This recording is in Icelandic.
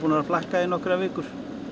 að flakka í nokkrar vikur